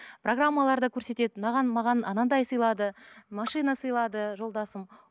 программаларда көрсетеді маған маған анандай сыйлады машина сыйлады жолдасым